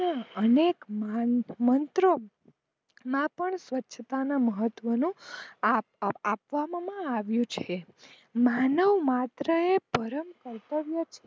અનેક મંત્રો માં પણ સ્વચ્છતાનું મહત્વ આપવામાં આવીયુ છે માનવ માત્ર એ પરમ કર્તવ્ય